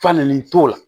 Falenli t'o la